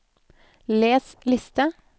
les liste